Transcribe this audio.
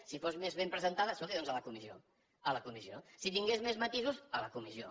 si fos més ben presentada escolti doncs a la comissió a la comissió si tingués més matisos a la comissió